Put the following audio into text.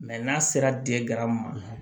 n'a sera di gara ma